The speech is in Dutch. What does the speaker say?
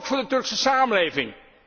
Ook voor de Turkse samenleving.